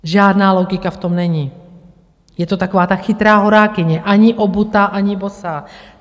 Žádná logika v tom není, je to taková ta chytrá horákyně, ani obutá, ani bosá.